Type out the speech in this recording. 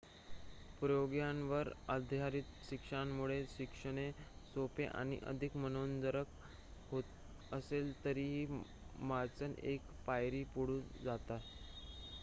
प्रयोगांवर आधारित शिक्षणामुळे शिकणे सोपे आणि अधिक मनोरंजक होत असले तरीही मचाण एक पायरी पुढे जाते